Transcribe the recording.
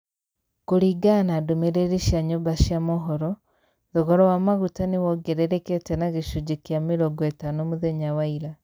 Kuringana na ndumĩrĩri cia nyumba cia mohoro, thogora wa maguta nĩwongererekete na gĩcunjĩ kĩa mĩrongo ĩtano mũthenya wa ira.